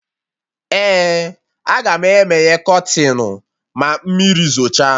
Ee, Agam emeye kọtịnụ ma mmiri zocha